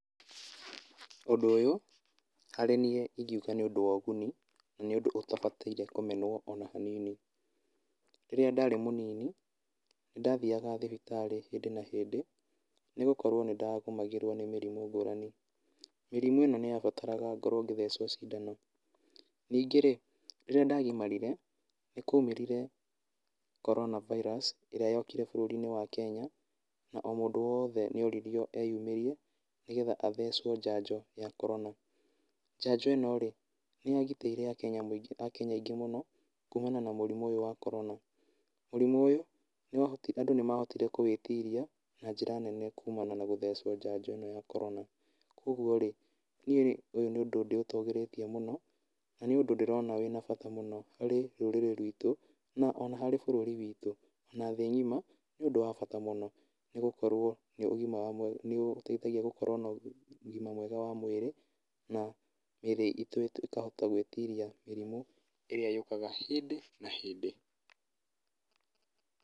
Ũndũ ũyũ, harĩ niĩ ingiuga nĩ ũndũ wa ũguni na nĩ ũndũ ũtabataire kũmenwo ona hanini. Rĩrĩa ndarĩ mũnini nĩ ndathiaga thibitarĩ hĩndĩ na hĩndĩ, nĩ gũkorwo nĩ ndagũmagĩrwo nĩ mĩrimũ ngũrani. Mĩrimũ ĩno nĩyabataraga ngorwo ngĩthecwo cindano, ningĩ rĩ rĩrĩa ndagimarire nĩ kwa umĩrire Corona virus ĩrĩa yokire bũrũri-inĩ wa Kenya, na o mũndũ wothe nĩ oririo e yumĩrie nĩgetha athecwo njanjo ya korona. Njanjo ĩno rĩ nĩ ya gitĩire andũ aingĩ mũno kumana na mũrimũ ũyũ wa korona, mũrimũ ũyũ andũ nĩmahotire kũwĩtiria na njĩra nene kumana na gũthecwo njanjo ĩno ya korona. Koguo rĩ, nĩ ũyũ nĩ ũndũ ndĩ ũtũgĩirie mũno, na nĩ ũndũ ndĩrona wĩna bata mũno harĩ rũrĩrĩ rwitũ na ona harĩ bũrũri witũ, na thĩ ng'ima nĩ ũndũ wa bata mũno, nĩ tondũ nĩ ũteithagia gũkorwo na ũgima mwega wa mwĩrĩ na mĩri itũ ĩkahota gwĩtiria mĩrimũ ĩrĩa yũkaga hĩndĩ na hĩndĩ.